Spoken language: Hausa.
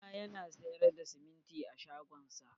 kawu na yana sayar da siminti a shagon sa.